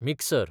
mixer